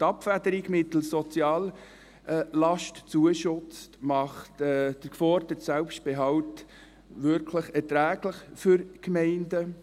Die Abfederung mittels «Soziallastzuschuss» macht den geforderten Selbstbehalt wirklich erträglich für die Gemeinden.